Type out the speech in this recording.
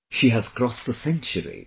She has crossed a century